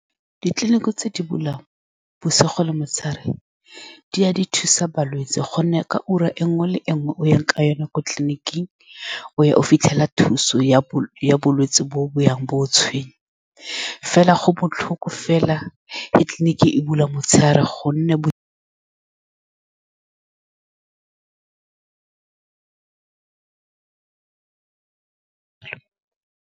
Ditleliniki tse di bulang bosigo le motshegare, di a thusa balwetsi ka gonne ka ura e nngwe le e nngwe e o yang ka yone ko tleliniking, o fitlhela thuso ya . Bolwetse bo bo yang bo go tshwenyang, mme fela go botlhoko fa tleliniking e bula motshegare fela ka gonne .